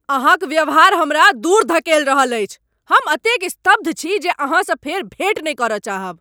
अहाँक व्यवहार हमरा दूर धकेल रहल अछि। हम एतेक स्तब्ध छी जे अहाँसँ फेर भेँट नहि करय चाहब!